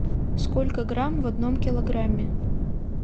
сколько грамм в одном килограмме